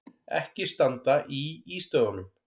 Ekki standa í ístöðunum!